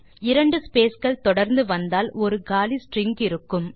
இரண்டு ஸ்பேஸ் கள் தொடர்ந்து வந்தால் ஒரு காலி ஸ்ட்ரிங் இருக்கும்